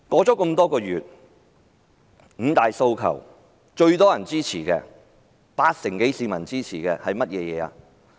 這多個月來，"五大訴求"中最多人支持、有八成多市民支持的是甚麼？